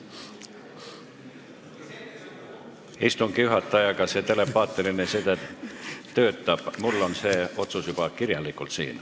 Istungi juhatajaga see telepaatiline side töötab, mul on see otsus siin juba kirjalikult.